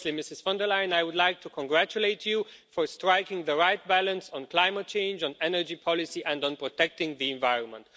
Firstly, Ms von der Leyen, I would like to congratulate you for striking the right balance on climate change, on energy policy and on protecting the environment.